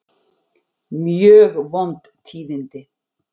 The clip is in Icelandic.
Mjög vond tíðindi